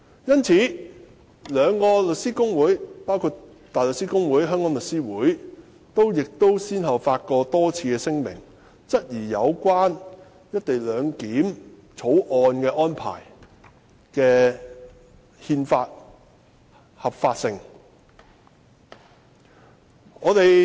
因此，香港大律師公會及香港律師會均先後多次發表聲明，質疑《條例草案》的合憲性。